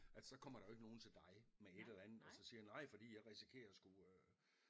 At så kommer der jo ikke nogle til dig med et eller andet og så siger nej fordi jeg risikerer at skulle øh